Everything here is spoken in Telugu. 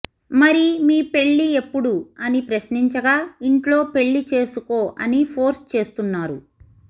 మరి మీ పెళ్లి ఎప్పుడు అని ప్రశ్నించగా ఇంట్లో పెళ్లి చేసుకొ ఆని ఫోర్స్ చేస్తున్నారు